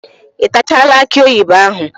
Ị tachaala akị oyibo ahụ?